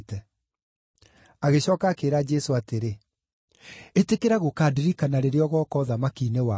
Agĩcooka akĩĩra Jesũ atĩrĩ, “Ĩtĩkĩra gũkandirikana rĩrĩa ũgooka ũthamaki-inĩ waku.”